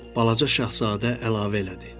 Balaca Şahzadə əlavə elədi: